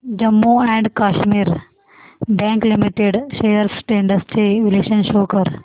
Jammu and Kashmir bank limited shares trends चे विश्लेषण show कर